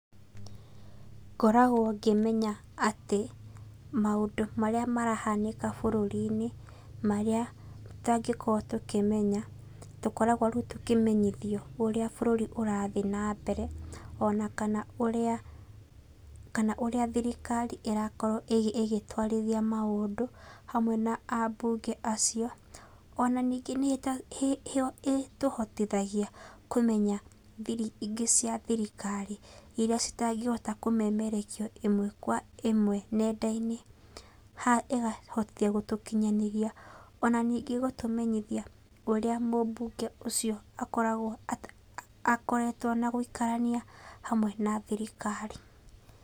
Ngoragwo ngĩmenya atĩ maũndũ marĩa marahanĩka bũrũri-inĩ, marĩa tũtangĩkorwo tũkĩmenya, tũkoragwo rĩu tũkĩmenyithio ũrĩa bũrũri ũrathiĩ nambere ona kana ũrĩa kana ũrĩa thirikari ĩrakorwo ĩgĩtwarithia maũndũ hamwe na ambunge acio. Ona ningĩ nĩ ĩtũhotithagia kũmenya thiri ingĩ cia thirikari iria citangĩhota kũmemerekio ĩmwe kwa ĩmwe nenda-inĩ haha ĩkahota gũtũkinyanĩria. Ona ningĩ gũtũmenyithia ũrĩa mũbunge ũcio akoragwo akoretwo na gũikarania hamwe na thirikari.